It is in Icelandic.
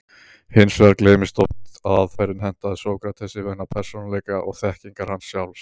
Hins vegar gleymist oft að aðferðin hentaði Sókratesi vegna persónuleika og þekkingar hans sjálfs.